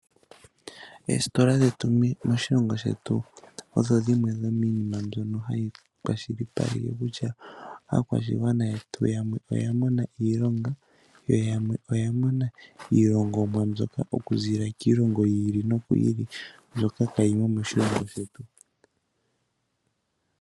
Eesitola dhetu moshilongo shetu odho dhimwe dhominima mbyoka hayi kwashilipaleke kutya aakwashigwana yetu yamwe oyamona iilonga yo yamwe oyamona iilongomwa okuzilila kiilongo yili noyili mbyoka hayi ya moshilongo shetu.